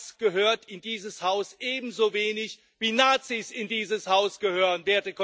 Das gehört in dieses Haus ebenso wenig, wie Nazis in dieses Haus gehören.